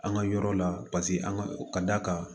An ka yɔrɔ la paseke an ka d'a kan